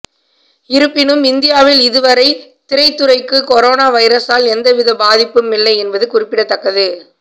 இருப்பினும் இந்தியாவில் இதுவரை திரைத்துறைக்கு கொரோனா வைரசால் எந்தவித பாதிப்பும் இல்லை என்பது குறிப்பிடத்தக்கது